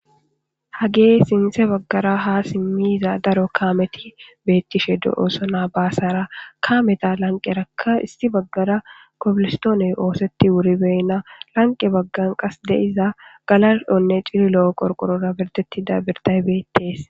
Haagay sintha baggara ha simmiiza daro kaameti beettishe do'ooso. Haa baasara kameta lanqerakka isti baggara kobilistooney ooseti wuribeyna lanqe baggan qas diza galalonne cililo qorqorora ertettida birtay beettees.